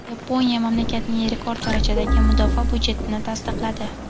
Yaponiya mamlakatning rekord darajadagi mudofaa budjetini tasdiqladi.